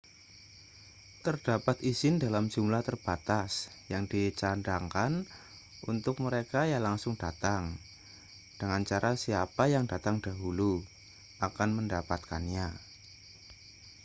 terdapat izin dalam jumlah terbatas yang dicadangkan untuk mereka yang langsung datang dengan cara siapa yang datang dahulu akan mendapatkannya